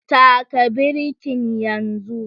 Taka birkin yanzu